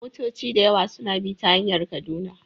Motoci da yawa suna bi ta hanyar Kaduna